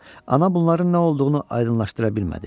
Ana bunların nə olduğunu aydınlaşdıra bilmədi.